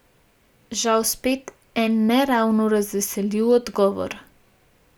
Žal spet en ne ravno razveseljiv odgovor ...